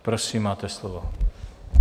Prosím, máte slovo.